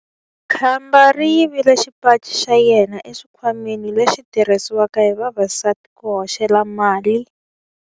Khamba ri yivile xipaci xa yena exikhwameni lexi xi tirhisiwaka hi vavasati ku hoxela mali.